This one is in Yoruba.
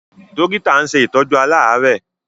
Dọ́kítà ń ṣe ìtọ́jú aláàárẹ̀.